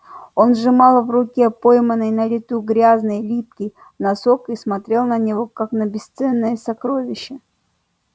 он сжимал в руке пойманный на лету грязный липкий носок и смотрел на него как на бесценное сокровище